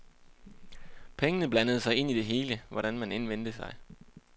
Pengene blandede sig ind i det hele, hvordan man end vendte sig.